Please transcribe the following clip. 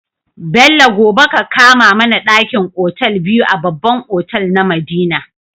Bello gobe ka kama mAna dakin otal biyu a babban otal na madina